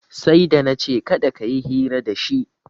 Sai da na ce kada ka yi hira dashi